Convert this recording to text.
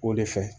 O de fɛ